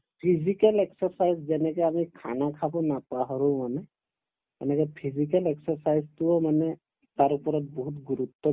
physical exercise যেনেকে আমি khana খাব নাপাহৰো মানে সেনেকে physical exercise টোও মানে তাৰ ওপৰত বহুত গুৰুত্ব